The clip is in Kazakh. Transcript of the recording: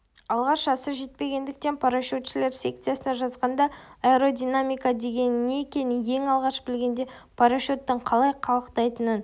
алғаш жасы жетпегендіктен парашютшілер секциясына жазғанда аэродинамика дегеннің не екенін ең алғаш білгенде парашюттің қалай қалықтайтынын